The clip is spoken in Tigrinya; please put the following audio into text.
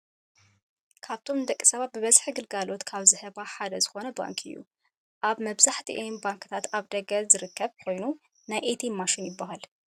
ካብቶም ንደቂሰባት ብበዝሒ ግልጋሎት ካብ ዝህባ ሓደ ዝኮነ ባንኪ እዩ። ኣብ መብዛሕቲኤን ባንክታት ኣብ ደገ ዝርከብ ኮይኑ ናይ ኤትኤም ማሽን ይብሃል።